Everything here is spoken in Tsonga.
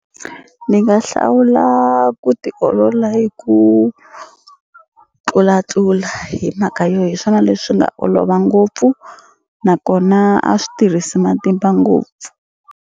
Ni nga hlawula ku tiolola hi ku tlulatlula hi mhaka yo hi swona leswi nga olova ngopfu nakona a swi tirhisi matimba ngopfu.